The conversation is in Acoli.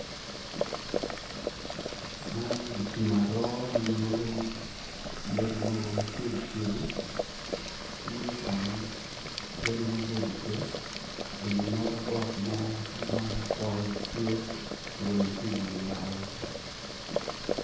Man ditim aro manyuto yadi mogo macego cego pinye kono yadi maboco pe eni nota got mo ma pol tye orungo kiwiye malo.